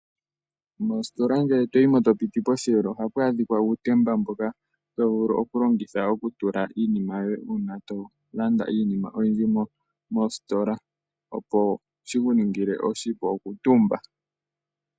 Mositola ngele to yi mo, to piti posheelo ohapu adhika uutemba mbono to vulu okulongitha, oku tula iinima ngele to landa iinima oyindji mositola opo shi ku ningile oshipu oku tumba.